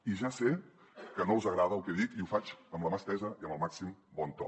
i ja sé que no els agrada el que dic i ho faig amb la mà estesa i amb el màxim bon to